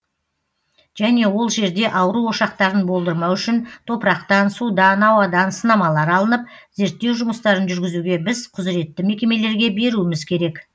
және ол жерде ауру ошақтарын болдырмау үшін топырақтан судан ауадан сынамалар алынып зерттеу жұмыстарын жүргізуге біз құзыретті мекемелерге беруіміз керек